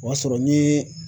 O y'a sɔrɔ n ye